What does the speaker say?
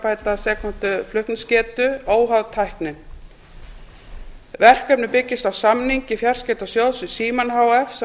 tvö mb s flutningsgetu óháð tækni verkefnið byggist á samningi fjarskiptasjóðs við símann h f sem var